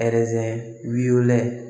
wɛlɛ